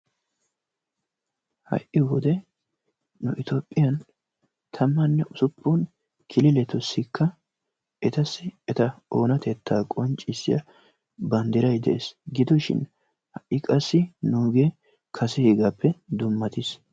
Hai wode nu Etoophiyanvtamanne usuppun kililetussikka etasi eta oonatettaa qonccisiya banddiray dees. Gidoshin hai qasi nuugee kaseegaappe dummatiis.